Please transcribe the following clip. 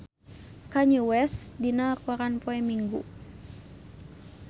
Kanye West aya dina koran poe Minggon